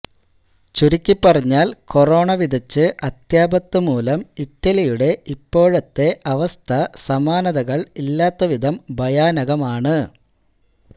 ചുരുക്കിപ്പറഞ്ഞാൽ കൊറോണ വിതച്ച് അത്യാപത്ത് മൂലം ഇറ്റലിയുടെ ഇപ്പോഴത്തെ അവസ്ഥ സമാനതകൾ ഇല്ലാത്ത വിധം ഭയാനകമാണ്